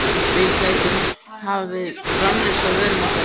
Við gætum hafið framleiðslu á vörum okkar í